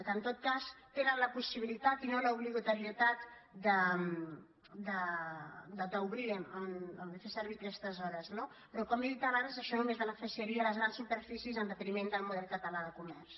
que en tot cas tenen la possibilitat i no l’obligatorietat d’obrir de fer servir aquestes hores no però com he dit abans això només beneficiaria les grans superfícies en detriment del model català de comerç